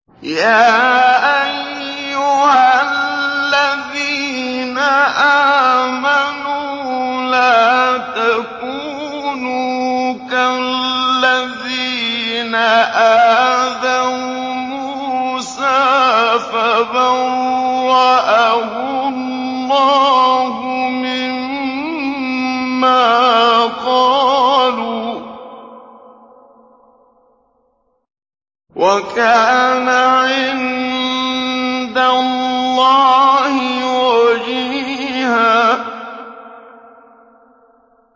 يَا أَيُّهَا الَّذِينَ آمَنُوا لَا تَكُونُوا كَالَّذِينَ آذَوْا مُوسَىٰ فَبَرَّأَهُ اللَّهُ مِمَّا قَالُوا ۚ وَكَانَ عِندَ اللَّهِ وَجِيهًا